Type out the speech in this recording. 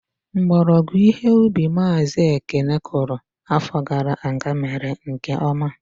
Mgbọrọgwụ ihe ubi Mazi Ekene kụrụ afọ gara aga mere nke ọma.